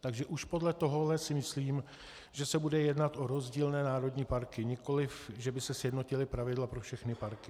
Takže už podle toho si myslím, že se bude jednat o rozdílné národní parky, nikoliv že by se sjednotila pravidla pro všechny parky.